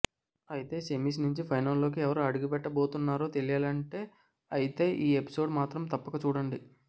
అయితే సెమిస్ నుంచి ఫైనల్లోకి ఎవరు అడుగుపెట్టబోతున్నారో తేలియాలంటే అయితే ఈ ఎపిసోడ్ మాత్రం తప్పక చూడండి